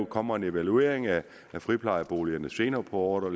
kommer en evaluering af friplejeboligerne senere på året i